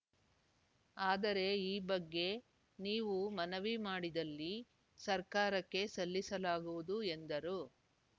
ಆದರೆ ಈ ಬಗ್ಗೆ ನೀವು ಮನವಿ ಮಾಡಿದಲ್ಲಿ ಸರ್ಕಾರಕ್ಕೆ ಸಲ್ಲಿಸಲಾಗುವುದು ಎಂದರು